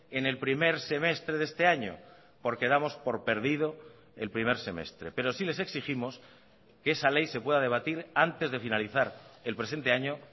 en el primer semestre de este año porque damos por perdido el primer semestre pero sí les exigimos que esa ley se pueda debatir antes de finalizar el presente año